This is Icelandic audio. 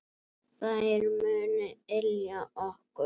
Þær munu ylja okkur.